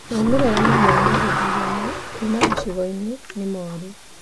Maũmĩrĩra mamwe ma gĩthurano kuuma gĩcigo-inĩ nĩ mooru